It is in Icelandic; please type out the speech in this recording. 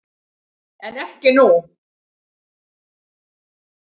En ekki nú.